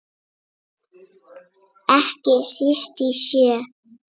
Ekki síst í sjö.